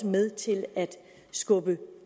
med til at skubbe